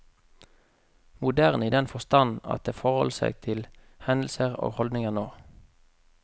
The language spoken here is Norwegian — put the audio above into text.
Moderne i den forstand at den forholder seg til hendelser og holdninger nå.